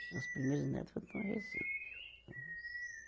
Os meus primeiros netos foram para o Recife.